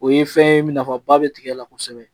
O ye fɛn ye nafaba bɛ tigɛ la kosɛbɛ